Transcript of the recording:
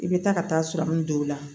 I bɛ taa ka taa dɔw la